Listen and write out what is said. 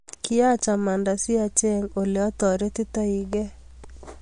Kiiacch amanda si acheeng ole ataretitoii gee